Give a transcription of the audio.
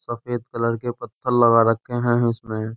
सफेद कलर के पत्थर लगा रखे हैं इसमें --